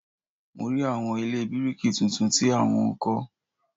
Mo rí àwọn ilé bíríkì tuntun tí a wọ́n ń kọ́